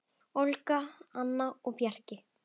Olga, Anna og Bjarki.